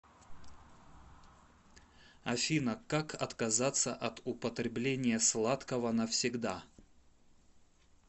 афина как отказаться от употребления сладкого навсегда